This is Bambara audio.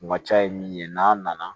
U ka ca ye min ye n'a nana